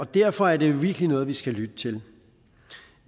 derfor er det jo virkelig noget vi skal lytte til